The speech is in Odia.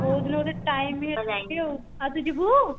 କୋଉ ଦିନ ଗୋଟେ time ହେଲେ ଯିବି ଆଉ ଆଉ ତୁ ଯିବୁ